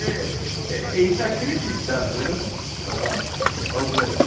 É, é inacreditável, né, falar algo assim.